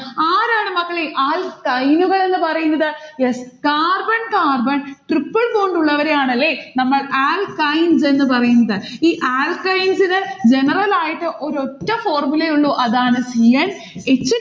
ആരാണ് മക്കളെ alkyne നുകളെന്ന് പറയുന്നത്. yes carbon carbon tripple bond ഉള്ളവരെയാണല്ലേ നമ്മൾ alkynes എന്ന് പറയുന്നത്. ഈ alkynes ന് general ആയിട്ട് ഒരൊറ്റ formula യെ ഉള്ളു അതാണ് c n h